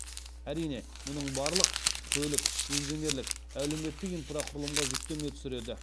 әрине мұның барлық көлік инженерлік әлеуметтік инфрақұрылымға жүктеме түсіреді